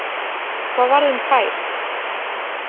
Hvað varð um Kyle?